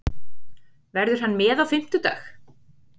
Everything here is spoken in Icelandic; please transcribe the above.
Verður hann með á fimmtudag?